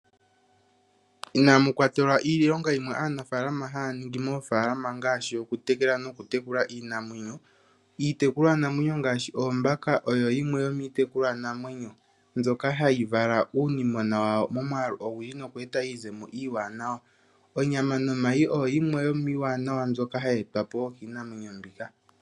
Inamu kwatelwa iilonga yimwe aanafalama haa ningi moofalama ngaashi okutekela nokutekula iinamwenyo. Iitekulwanamwenyo ngaashi oombaka oyo yimwe yomiitekulwanamwenyo mbyoka hayi vala uunimona wawo momwaalu ogundji, noku eta iizemo iiwanawa. Onyama nomayi oyo yimwe yomiiwanawa mbyoka hayi etwa po wo kiinamwenyo mbika.